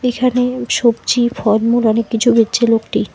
এখানে সবজি ফলমূল অনেক কিছু বেচছে লোকটি।